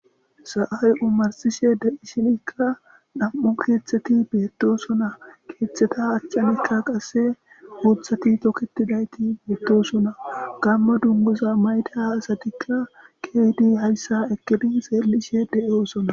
Sa7ay omarsishe de7ishinikka dham7u keeththeti beettosona. keeththeta achchanikka qasse uuthati toketidayti beettosona. gamma dunguza mayda asatikka keehidi hayssa ekkidi xeellishe de7oosona.